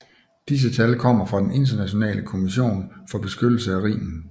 Disse tal kommer fra den Internationale Kommission for beskyttelse af Rhinen